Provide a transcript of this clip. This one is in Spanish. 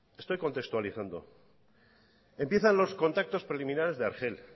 estoy contextualizando empiezan los contactos preliminares de argel